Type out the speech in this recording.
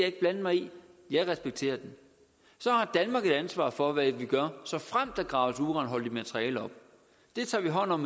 ikke blande mig i jeg respekterer den så har danmark et ansvar for hvad vi gør såfremt der graves uranholdigt materiale op det tager vi hånd om